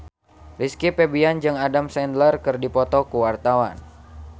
Rizky Febian jeung Adam Sandler keur dipoto ku wartawan